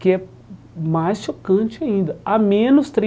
Que é mais chocante ainda, a menos